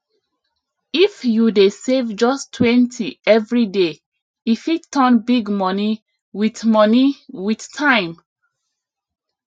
if you dey save justtwentyevery day e fit turn big money with money with time